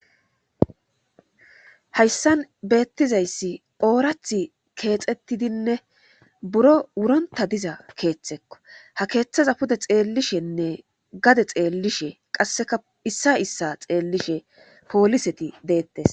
hayssan beettizayssi oorath keexettidinne buro wuronta diza keeththekko ha keeththaza pude xeellishenne gade xeellishe qasseka issa issa xeellishe pooliseti deettes